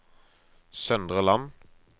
Søndre Land